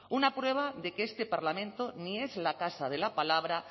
una prueba de que este parlamento ni es la casa de la palabra